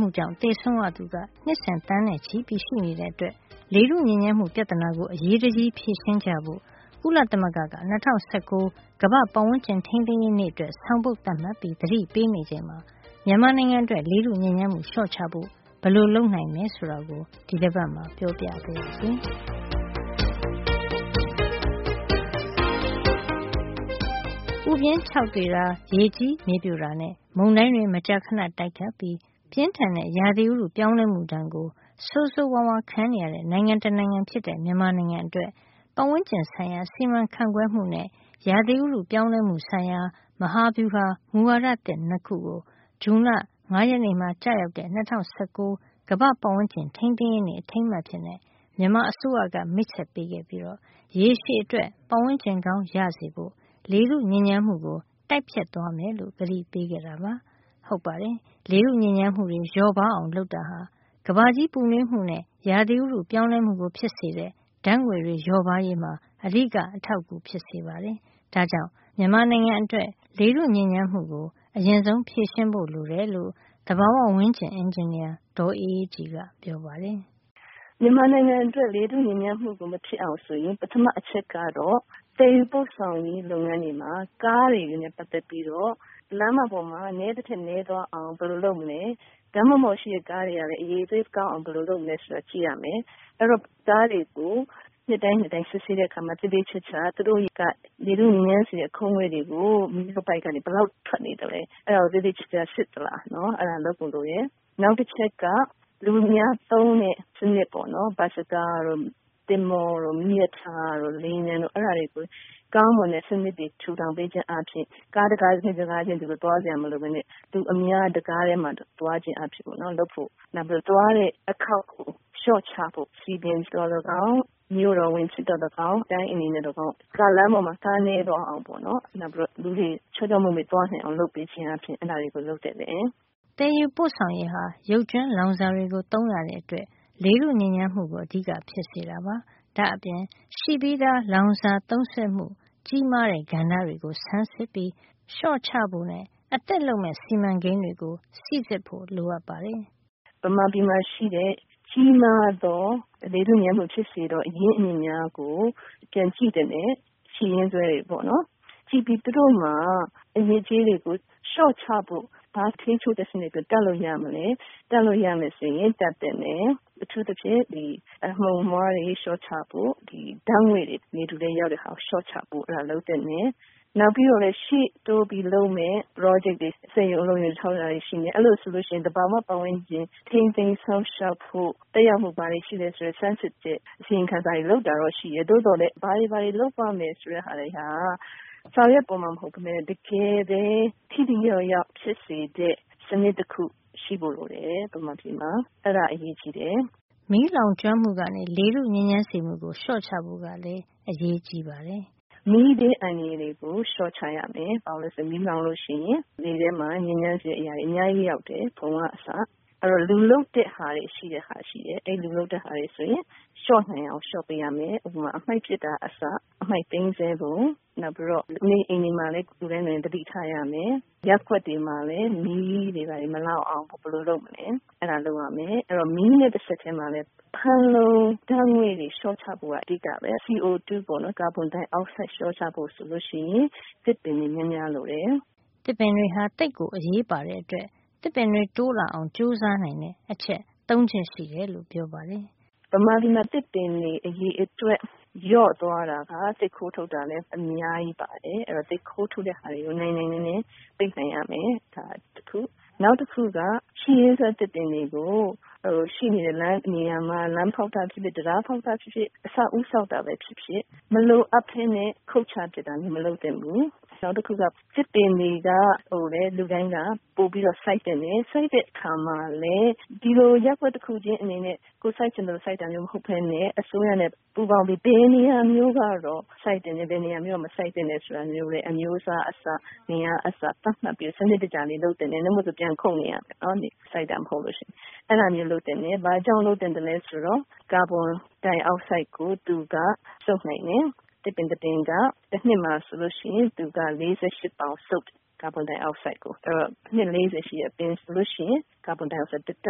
မှုကြောင့် သေဆုံးရသူ နှစ်စဉ် သန်းနဲ့ချီရှိနေတာကြောင့် လေထုညစ်ညမ်းမှု ပြဿနာကို အရေးတကြီး ဖြေရှင်းကြဖို့ ကုလသမဂ္ဂက ၂၀၁၉ ကမ္ဘာ့ပတ်ဝန်းကျင် ထိန်းသိမ်းရေးနေ့အတွက် ဆောင်ပုဒ်သတ်မှတ်ပြီး သတိပေးနေချိန်မှာ မြန်မာနိုင်ငံအတွက် လေထုညစ်ညမ်းမှု လျှော့ချဖို့ ဘယ်လိုလုပ်နိုင်တယ် ဆိုတာကို ဒီတပတ်မှာ ပြောပြပါရစေ။ ပူပြင်းခြောက်သွေ့တာ၊ ရေကြီးမြေပြိုတာနဲ့ မုန်တိုင်းတွေ မကြာခဏတိုက်ခတ်ပြီး ပြင်းထန်တဲ့ ရာသီဥတု ပြောင်းလဲမှုဒဏ်ကို ဆိုးဆိုးဝါးဝါး ခံနေရတဲ့ နိုင်ငံတနိုင်ငံဖြစ်တဲ့ မြန်မာနိုင်ငံ အတွက် ပတ်ဝန်းကျင်ဆိုင်ရာ စီမံခန့်ခွဲမှုနဲ့ ရာသီဥတုပြောင်းလဲမှုဆိုင်ရာ မဟာဗျူဟာ မူဝါဒသစ် ၂ ခုကို ဇွန်လ ၅ ရက်နေ့မှာ ကျရောက်တဲ့ ၂၀၁၉ ကမ္ဘာ့ပတ်ဝန်းကျင်ထိန်းသိမ်းရေးနေ့ အထိန်းအမှတ် အဖြစ် မြန်မာအစိုးရက မိတ်ဆက်ပေးခဲ့ပြီး ရေရှည်အတွက် ပတ်ဝန်းကျင်ကောင်းရဖို့ လေထုညစ်ညမ်းမှုကို တိုက်ဖျက်သွားမယ်လို့ ကတိပေးခဲ့ပါတယ်။ ဟုတ်ပါတယ်။ လေထုညစ်ညမ်းမှု လျော့ပါးအောင် လုပ်တာဟာ ကမ္ဘာကြီးပူနွေးမှုနဲ့ ရာသီဥတုပြောင်းလဲမှုကို ဖြစ်စေတဲ့ ဓါတ်ငွေ့တွေလျော့ပါးရေးမှာ အဓိက အထောက်အကူဖြစ်စေ ပါတယ်။ ဒါ့ကြောင့် မြန်မာနိုင်ငံအတွက် လေထုညစ်ညမ်းမှုကို အရင်ဆုံး ဖြေရှင်းဖို့ လိုတယ်လို့ သဘာဝဝန်းကျင် အင်ဂျင်နီယာ ဒေါ်အေးအေးကြည်က ပြောပါတယ်။ “ မြန်မာနိုင်ငံအတွက် လေထုညစ်ညမ်းမှု မဖြစ်အောင် ဆိုရင် ပထမဆုံးက သယ်ယူပို့ဆောင်ရေး လုပ်ငန်းတွေနဲ့ ပတ်သက်ပြီး ကားတွေ လမ်းမတွေပေါ်မှာ နဲနိုင်သမျှ နဲသွား အောင် ဘယ်လိုလုပ်မလဲ၊ လမ်းတွေပေါ်က ကားတွေ အရည်အသွေးကောင်းအောင် ဘယ်လို လုပ်မလဲ ဆိုတာ ကြည့်ရမယ်။ နောက် ကားတွေကို နှစ်တိုင်းနှစ်တိုင်း စစ်ဆေးတဲ့ အခါမှာ သူတို့က လေထုညစ်ညမ်းစေတဲ့ အခိုးတွေ မီးခိုးပိုက်ကနေ ဘယ်လောက်ထွက်နေတယ် ဆိုတာကို သေသေချာချာ စစ်သလား။ သေချာကြည့်ဖို့ လိုတယ်။ နောက် လူအများသုံးတဲ့ စံနစ် - ဘတ်စကား တို့၊ သင်္ဘောတို့၊ မီးရထားတို့၊ လေယာဉ်ပျံတို့၊ အဲဒါတွေကို ကောင်းမွန်တဲ့ စံနစ်ထူထောင် ပေးခြင်း အားဖြင့် ကားတကားချင်း သွားစရာ မလိုပဲနဲ့ လူအများ တကားထဲမှာ သွားနိုင်အောင် လုပ်ဖို့လိုပါတယ်။ ဒါ့အပြင် သွားတဲ့ အခေါက်ရေကို လျှော့ချဖို့ လုပ်ရမှာပါ။၊ စည်ပင်ဖြစ်စေ၊ မြို့တော်ဝန်ဖြစ်စေ၊ တိုင်းအင်ဂျင်နီယာ ကဖြစ်စေက လမ်းမတွေပေါ်မှာ ကာအစင်းရေ နဲသွားအောင်နဲ့ လူတွေ ချောချောမောမော သွားနိုင်အောင် အဲဒါမျိုးတွေ လုပ်ပေးသင့်ပါတယ်။” သယ်ယူပို့ဆောင်ရေးဟာ ရုပ်ကြွင်းလောင်စာတွေကို သုံးရတဲ့အတွက် လေထုညစ်ညမ်းမှုကို အဓိကဖြစ်စေတာပါ။ ဒါ့အပြင် ရှိပြီးသား လောင်စာသုံးစွဲမှု ကြီးမားတဲ့ကဏ္ဍတွေကို ဆန်းစစ်ပြီး လျှော့ချဖို့ အသစ်လုပ်မယ့် စီမံကိန်းတွေကို စီစစ်ဖို့ လိုပါတယ်။ “မြန်မာပြည်မှာ ရှိတဲ့ ကြီးမားသော လေထုညစ်ညမ်းမှု ဖြစ်စေသော၊ အရင်းအမြစ်များကို ပြန်ကြည့်သင့်တယ်။ ရှိရင်းစွဲတွေကိုပေါ့နော်။ သူတို့မှာ အညစ်အကြေးတွေကို လျှော့ချဖို့၊ ဘယ်လို ထိန်းချုပ်တဲ့ စံနစ်တွေ တပ်လို့ ရမလဲ၊ တပ်လို့ ရမယ် ဆိုရင် တပ်သင့်တယ်။ အထူးသဖြင့် အမှုန်အမွှားတွေ လျှော့ချဖို့၊ ဓါတ်ငွေ့တွေ လေထုထဲ ရောက်မယ့်ဟာကို လျှော့ချသင့်တယ်။ နောက်ပြီးတော့လဲ ရှေ့တိုးပြီး လုပ်မယ့် ပရောဂျက်တွေ စက်ရုံအလုပ်ရုံ ဆောက်တာတွေ ရှိမယ်။ အဲဒီလို ဆိုရင် သဘာဝ ဝန်းကျင် ထိန်းသိမ်းစောင့်ရှောက်ဖို့၊ သက်ရောက်မှု ဘာတွေ ရှိသလဲ ဆိုတာ ဆန်းစစ်ဖို့ပါ။ အစီရင်ခံစာတွေ လုပ်တာတော့ ရှိတယ်။ သို့သော်လည်း ဘာတွေ လုပ်ရမယ် ဆိုတာက စာရွက်ပေါ်မှာတင် ရှိတာ မဟုတ်ပဲနဲ့ တကယ်ပဲ ထိထိရောက်ရောက် ဖြစ်စေတဲ့၊ စံနစ်တခု ရှိဖို့ လိုတယ်။ အဲဒါ အရေးကြီးတယ်။” မီးလောင်ကျွမ်းမှုကနေ လေထုညစ်ညမ်းစေမှုကို လျှော့ချဖို့ ကလည်း အရေးကြီးပါတယ်။ “မီးဘေးအန္တရာယ်ကို လျှော့ချရမယ်။ ဘာလို့လည်းဆိုတော့ မီးလောင်ပြီ ဆိုရင် လေထဲမှာ ညစ်ညမ်းစေတဲ့ အရာတွေ အများကြီးရောက်တယ်။ ဖုံက အစ။ အဲဒီတော့ လူလုပ်တဲ့ ဟာတွေကြောင့် ဖြစ်လာတာ မျိုးကို လျှော့နိုင်သမျှ လျှော့ပေးရမယ်။ ဥပမာ အမှိုက်ပစ်တာက အစ အမှိုက်သိမ်းတာ၊ လူနေအိမ်တွေမှာ သတိထားရမယ်။ ရပ်ကွက်တွေ မှာလည်း မီးမလောင်အောင် ဘယ်လိုလုပ်မလဲ ဆိုတာ တွေ ကြိုတင် လုပ်ထားရမယ်။ အဲဒီ မီးနဲ့ တဆက်ထဲမှာပဲ ဖန်လုံအိမ် ဓါတ်ငွေ့ တွေ လျှော့ချဖို့က အဓိကပဲ။ CO2 ကာဗွန်ဒိုင်အောက်ဆိုဒ် ဓါတ်တွေ လျှော့ချဖို့ ဆိုရင် သစ်ပင်တွေ များများ ရှိဖို့လိုတယ်။” သစ်ပင်တွေဟာ သိပ်ကိုအရေးပါတဲ့အတွက် သစ်ပင်တွေတိုးလာအောင် ကြိုးစားနိုင်တဲ့ အချက် ၃ ချက်ရှိတယ်လို့ ပြောပါတယ်။ “မြန်မာပြည်မှာ သစ်ပင်တွေ အရေအတွက် လျော့သွားတာက သစ်ခိုးထုတ် တာက အများကြီးပါတယ်။ အဲဒီတော့ သစ်ခိုးထုတ်တာတွေကို နိုင်နိုင်နင်းနင်း ပိတ်ပင်ရမယ်။ နောက်တခုက ရှိရင်းစွဲ သစ်ပင်တွေအတွက် ဒီသစ်ပင်တွေကို လမ်းဖေါက်တာဖြစ်ဖြစ်၊ တံတား ဆောက်တာဖြစ်ဖြစ်၊ အဆောက်အဦး ဆောက်တာပဲ ဖြစ်ဖြစ် မလိုအပ်ပဲနဲ့ ခုတ်ချပစ်တာမျိုး မလုပ်သင့် ဘူး။ နောက်တချက်က သစ်ပင်တွေကို လူတိုင်း ပိုပြီး စိုက်သင့်တယ်။ စိုက်တဲ့အခါမှာလည်း ဒီလို ရပ်ကွက်တခုချင်း အနေနဲ့ ကိုယ်စိုက်ချင်သလို စိုက်တာမျိုး မဟုတ်ပဲနဲ့ အစိုးရနဲ့ ပူးပေါင်းပြီး ဘယ်နေရာမျိုး ကတော့ စိုက်သင့်တယ်။ ဘယ်နေရာမျိုးက မစိုက်သင့်ဘူးလဲ ဆိုတာ၊ အမျိုးအစားက အစ၊ ဘယ်နှစ်ပင် ဆိုတာကအစ သတ်မှတ်ပြီး စံနစ်တကျ လုပ်သင့်တယ်။ ဒီလိုမလုပ်ရင် ပြန်ခုတ်နေရ မယ်။ စိုက်တာ မဟုတ်လို့ ရှိရင်။ ဒီလို ဘာကြောင့် လုပ်သင့်သလဲ ဆိုတော့ ကာဗွန်ဒိုင်အောက်ဆိုဒ် ကို သူက စုပ်ယူနိုင်တယ်။ သစ်ပင်တပင်က တနှစ်မှာ ဆိုရင် သူက ကာဗွန်ဒိုင်အောက်ဆိုဒ် ၄၈ ပေါင် စုပ်ယူတယ်။ အဲဒီတော့ အနှစ် ၄၀ ရှိတဲ့ အပင်ဆိုလို့ရှိရင် ကာဗွန်ဒိုင်အောက်ဆိုဒ်ကို တတ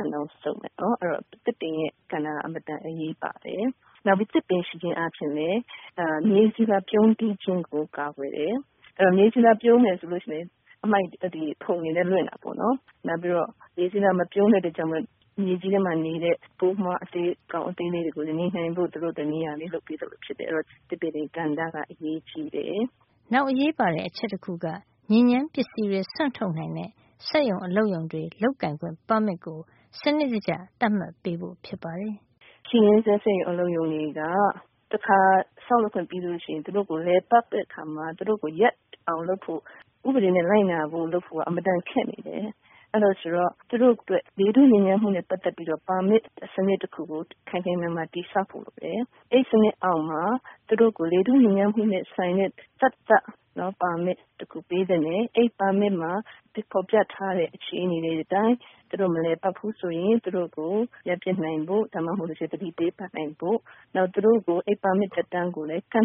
န်လောက် စုပ်ယူမယ်။ ဒါကြောင့် သစ်ပင်ရဲ့ကဏ္ဍက အင်မတန် အရေးပါပါတယ်။ နောက်ပြီး သစ်ပင်ရှိခြင်းအားဖြင့် မြေဆီလွှာ ပြုန်းတီး ခြင်းကို ကာကွယ်တယ်။ အဲဒီလို မြေဆီလွှာ ပြုန်းမယ် ဆိုရင် ဖုံတွေလည်း လွင့်တာပေါ့နော်။ နောက်ပြီး မြေဆီလွှာ မပြုန်းဘူးဆိုရင် မြေကြီးထဲမှာ နေတဲ့ ပိုးမွှားအကောင် အသေးလေးတွေ နေနိုင်ဖို့ သူတို့အတွက် နေရာလေး လုပ်ပေးသလို ဖြစ်တယ်။ အဲဒီတော့ ဒီသစ်ပင်တွေရဲ့ ကဏ္ဍက အရေးကြီးတယ်။” နောက်အရေးပါတဲ့ အချက်တခုက ညစ်ညမ်းပစ္စည်းတွေ စွန့်ထုတ်နိုင်တဲ့ စက်ရုံ အလုပ်ရုံတွေ လုပ်ကိုင်ခွင့် ပါမစ်ကို စံနစ်တကျ သတ်မှတ်ပေးဖို့ဖြစ်ပါတယ်။ “ရှိရင်းစွဲ စက်ရုံ အလုပ်ရုံတွေက တခါ ဆောက်လုပ်ခွင့် ရပြီး လည်ပတ်နေပြီ ဆိုရင် သူတို့ကို ရပ်အောင် လုပ်ဖို့၊ ဥပဒေ လိုက်နာအောင် လုပ်ဖို့က အင်မတန် ခက်နေတယ်။ ဒါကြောင့် သူတို့အတွက် လေထုညစ်ညမ်းမှုနဲ့ ပတ်သက်ပြီးတော့ ပါမစ်စံနစ် တခုကို ခိုင်ခိုင်မာမာ တည်ဆောက်ဖို့ အတွက် အဲဒီစံနစ်အောက်မှာ လေထုညစ်ညမ်းမှုနဲ့ ဆိုင်တဲ့ သတ်သတ် ပါမစ်တခု ပေးသင့်တယ်။ အဲဒီပါမစ်မှာ ဖေါ်ပြထားတဲ့ အခြေနေတွေ အတိုင်း သူတို့ မလည်ပတ်ဖူး ဆိုရင် သူတို့ကို ရပ်ပစ်နိုင်ဖို့၊ သူတို့ကို သတိပေးနိုင်ဖို့။ နောက်ပြီး ပါမစ်သက်တမ်းကိုလည်း ကန့